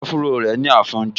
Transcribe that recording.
Áfúró rẹ̀ ní afínjú